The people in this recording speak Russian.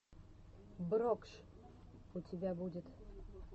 брокш у тебя будет